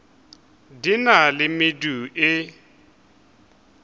di na le medu e